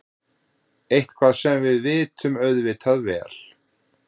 Eitthvað sem við vitum auðvitað vel.